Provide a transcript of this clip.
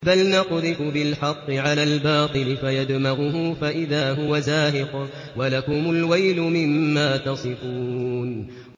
بَلْ نَقْذِفُ بِالْحَقِّ عَلَى الْبَاطِلِ فَيَدْمَغُهُ فَإِذَا هُوَ زَاهِقٌ ۚ وَلَكُمُ الْوَيْلُ مِمَّا تَصِفُونَ